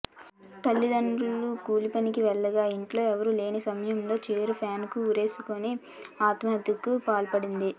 తల్లిదండ్రులు కూలిపనికి వెళ్లగా ఇంట్లో ఎవరూ లేని సమయంలో చీరెతో ఫ్యాన్కు ఉరేసుకొని ఆత్మహత్యకు పాల్పడింది